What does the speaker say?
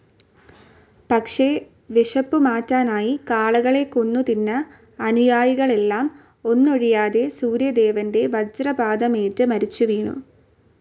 പക്ഷെ വിശപ്പു മാറ്റാനായി കാളകളെ കൊന്നു തിന്ന അനുയായികളെല്ലാം ഒന്നൊഴിയാതെ സൂര്യദേവന്റെ വജ്രപാതമേറ്റ് മരിച്ചു വീണു.